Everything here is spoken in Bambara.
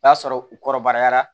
O y'a sɔrɔ u kɔrɔbayara